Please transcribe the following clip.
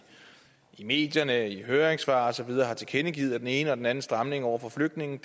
medierne i høringssvar og så videre har tilkendegivet at den ene eller den anden stramning over for flygtninge